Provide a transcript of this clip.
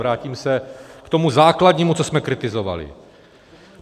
Vrátím se k tomu základnímu, co jsme kritizovali.